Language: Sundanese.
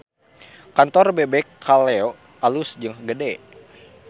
Kantor Bebek Kaleyo alus jeung gede